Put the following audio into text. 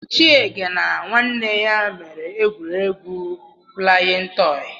Chiege na nwanne ya mere egwuregwu flayin tọn